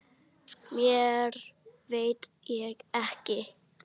Meira veit ég ekki.